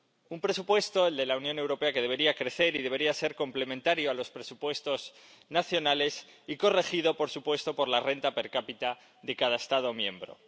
un presupuesto —el de la Unión Europea— que debería crecer y debería ser complementario a los presupuestos nacionales y corregido, por supuesto, por la renta per cápita de cada Estado miembro.